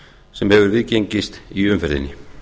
sem hefur viðgengist í umferðinni